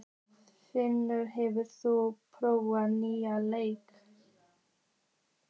Freymundur, hefur þú prófað nýja leikinn?